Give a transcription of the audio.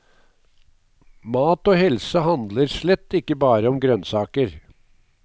Mat og helse handler slett ikke bare om grønnsaker.